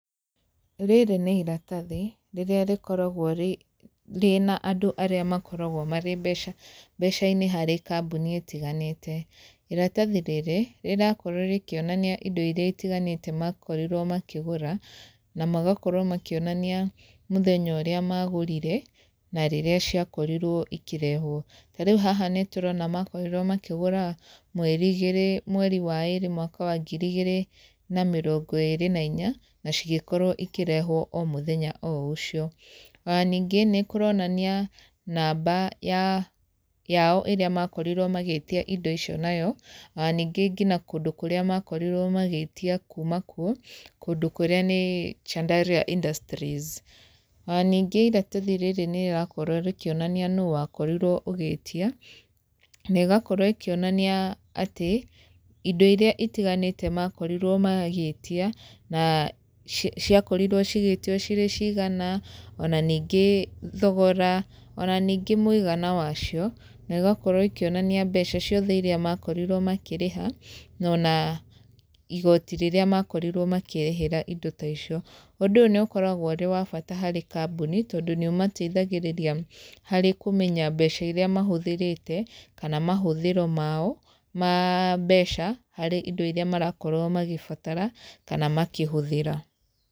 Rĩrĩ nĩ iratathi, rĩrĩa rĩkoragwo rĩna andũ arĩa makoragwo marĩ mbeca mbeca-inĩ harĩ kambuni ĩtiganĩte. Iratathi rĩrĩ, rĩrakorwo rĩkĩonania indo irĩa itiganĩte makorirwo makĩgũra, na magakorwo makĩonania mũthenya ũrĩa magũrire, na rĩrĩa ciakorirwo ikĩrehwo. Ta rĩu haha nĩ tũrona makorirwo makĩgũra mweri igĩrĩ, mweri wa ĩĩrĩ mwaka wa ngiri igĩrĩ na mĩrongo ĩĩrĩ na inya, nĩ cigĩkorwo ikĩrehwo o mũthenya o ũcio. Ona ningĩ, nĩ kũronania namba ya yao ĩrĩa makorirwo magĩtia indo icio nayo, ona ningĩ ngina kũndũ kũrĩa makorirwo magĩtia kuuma kuo, kũndũ kũrĩa nĩ Chandaria Industries. Ona ningĩ iratathi rĩrĩ nĩ rĩrakorwo rĩkĩonania nũũ wakorirwo ũgĩtia, nĩ ĩgakorwo ĩkĩonania atĩ, indo irĩa itiganĩte makorirwo magĩtia, na ciakorirwo cigĩtio cirĩ cigana, ona ningĩ thogora, ona ningĩ mũigana wa cio, na igakorwo ikĩonania mbeca ciothe irĩa makorirwo makĩrĩha, na ona igooti rĩrĩa makorirwo makĩrĩhĩra indo ta icio. Ũndũ nĩ ũkoragwo ũrĩ wa bata harĩ kambuni, tondũ nĩ ũmateithagĩrĩria harĩ kũmenya mbeca iria mahũthĩrĩte, kana mahũthĩro mao ma mbeca, harĩ indo irĩa marakorwo magĩbatara, kana makĩhũthĩra.